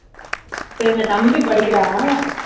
இப்போ எங்க தம்பி படிக்கிறான்